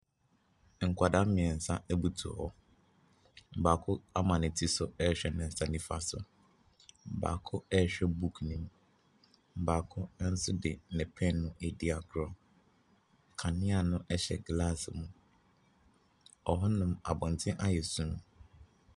Nkɔdaa mmiɛnsa abutuw hɔ. Baako ama ne ti so ɛhwɛ ne nsa nifa so. Baako ɛhwɛ buuk nim. Baako nso de ne pɛn edi agorɔ. Kanea no ɛhyɛ gelasse mu. Ɔhɔ nom abɔnten ayɛ sum.